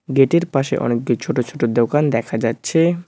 Gate এর পাশে অনেকগুলি ছোট ছোট দোকান দেখা যাচ্ছে।